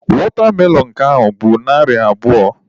Watermelon nke a bụ narị abụọ.